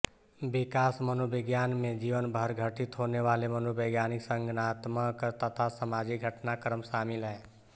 विकास मनोविज्ञान में जीवन भर घटित होनेवाले मनोवैज्ञानिक संज्ञानात्मक तथा सामाजिक घटनाक्रम शामिल हैं